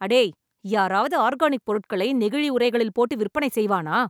அடேய் யாராவது ஆர்கானிக் பொருட்களை நெகிழி உரைகளில் போட்டு விற்பனை செய்வானா